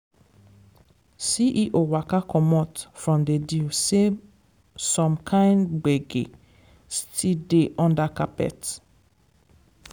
ceo waka comot from the deal say some kind gbege still dey under carpet.